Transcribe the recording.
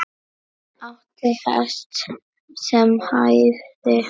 Átti hest sem hæfði.